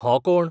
हो कोण?